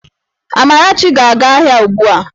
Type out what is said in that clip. Amarachi ga-aga ahia ugbua!